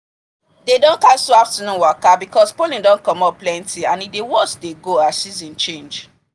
dey don cancel afternoon waka because pollen don commot plenty and e dey worst dey go as season change